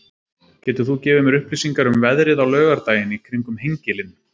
getur þú gefið mér upplýsingar um veðrið á laugardaginn í kring um hengilinn